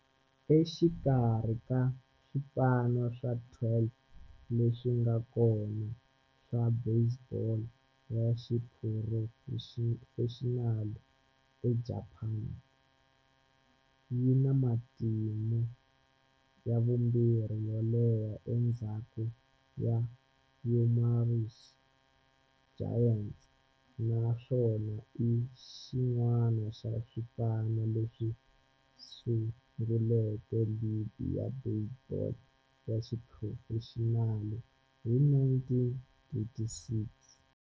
Exikarhi ka swipano swa 12 leswi nga kona swa baseball ya xiphurofexinali eJapani, yi na matimu ya vumbirhi yo leha endzhaku ka Yomiuri Giants, naswona i xin'wana xa swipano leswi sunguleke ligi ya baseball ya xiphurofexinali hi 1936.